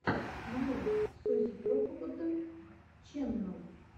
нарой созидроппд ченнал